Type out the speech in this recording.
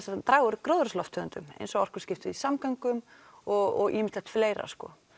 að draga úr gróðurhúsalofttegundum eins og orkuskipti í samgöngum og ýmislegt fleira sko